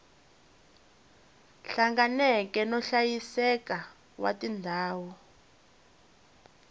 hlanganeke no hlayiseka wa tindhawu